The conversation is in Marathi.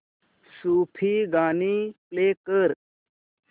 सूफी गाणी प्ले कर